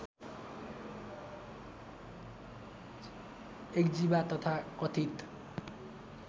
इक्जिबा तथा कथित